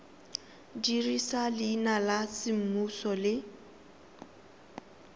dirisa leina la semmuso le